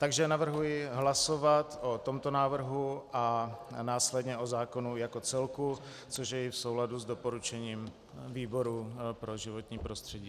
Takže navrhuji hlasovat o tomto návrhu a následně o zákonu jako celku, což je i v souladu s doporučením výboru pro životní prostředí.